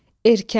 Erkən.